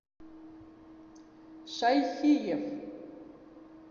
шайхиев